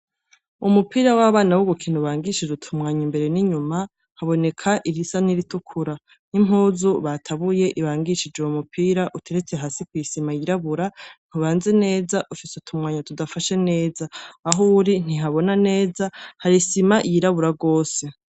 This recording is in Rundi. Umupira w'abana w'ugukinu ubangishije utumwanya imbere n'inyuma haboneka irisa n'iritukura n'impuzu batabuye ibangishije uwu mupira uteretse hasi kw'isima yirabura ntubanze neza ufise utumwanya tudafashe neza aho uri ntihabona neza harisima yirabura rwose.